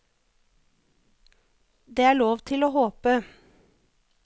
Det er lov til å håpe.